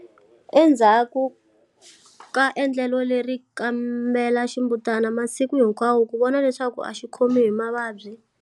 Enzhaku ka endlelo leri, kambela ximbutana masiku hinkwawo ku vona leswaku a xi khomi hi mavabyi.